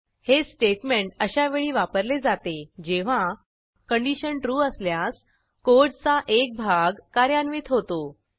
हे स्टेटमेंट अशा वेळी वापरले जाते जेव्हा कंडिशन trueअसल्यास कोडचा एक भाग कार्यान्वित होतो